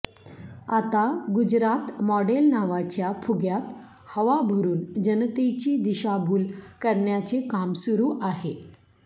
आता गुजरात मॉडेल नावाच्या फुग्यात हवा भरून जनतेची दिशाभूल करण्याचे काम सुरू आहे